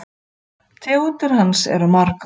Tegundir hans eru margar